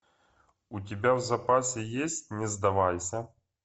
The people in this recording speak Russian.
у тебя в запасе есть не сдавайся